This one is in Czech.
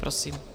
Prosím.